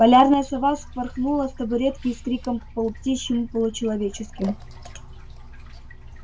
полярная сова вспорхнула с табуретки с криком полуптичьим-получеловеческим